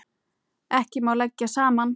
Ekki má leggja saman.